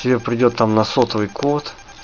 тебе придёт там на сотовый код